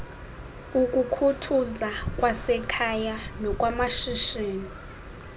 ukukhuthuza kwasekhaya nokwamashishini